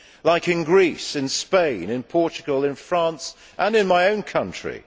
As they are in Greece, in Spain, in Portugal, in France and in my own country.